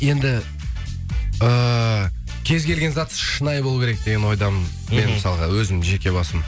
енді эээ кез келген зат шынайы болуы керек деген ойдамын мен мысалға өзім жеке басым